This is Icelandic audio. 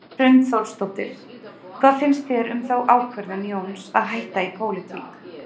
Hrund Þórsdóttir: Hvað finnst þér um þá ákvörðun Jóns að hætta í pólitík?